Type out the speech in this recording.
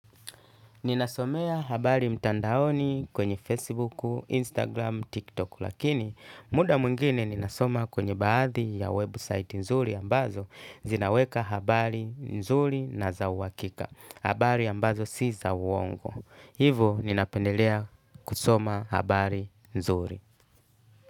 Ninasomea habari mtandaoni kwenye Facebook, Instagram, TikTok lakini muda mwingine ninasoma kwenye baadhi ya web site nzuri ambazo zinaweka habari nzuri na za uhakika. Habari ambazo si za uwongo. Hivo ninapendelea kusoma habari nzuri.